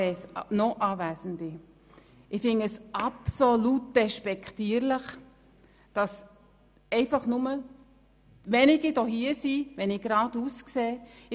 Werte NochAnwesende, ich finde es absolut despektierlich, dass nur so wenige Leute in den Reihen, die sich geradeaus vor mir befinden, anwesend sind.